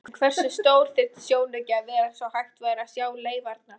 En hversu stór þyrfti sjónauki að vera svo hægt væri að sjá leifarnar?